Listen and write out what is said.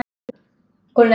Ég vil aldrei missa þig.